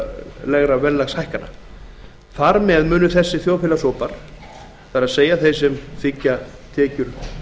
áætlun fjárlaga og þar með skila lægri rauntekjum til þjóðfélagshópa það er þeirra sem þiggja tekjur